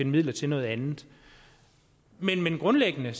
midler til noget andet men grundlæggende